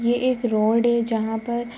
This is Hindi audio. ये एक रोड है जहाँ पर--